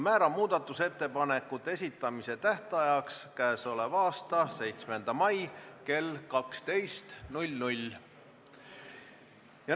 Määran muudatusettepanekute esitamise tähtajaks k.a 7. mai kell 12.